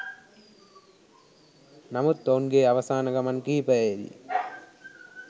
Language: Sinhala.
නමුත් ඔවුන්ගේ අවසාන ගමන් කිහිපයේදී